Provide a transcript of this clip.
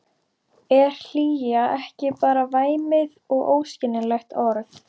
Er hlýja ekki bara væmið og óskiljanlegt orð?